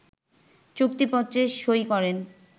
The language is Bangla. চুক্তিপত্রে সই করেন